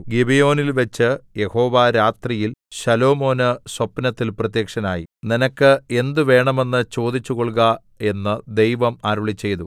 ഗിബെയോനിൽവെച്ച് യഹോവ രാത്രിയിൽ ശലോമോന് സ്വപ്നത്തിൽ പ്രത്യക്ഷനായി നിനക്ക് എന്ത് വേണമെന്ന് ചോദിച്ചു കൊൾക എന്ന് ദൈവം അരുളിച്ചെയ്തു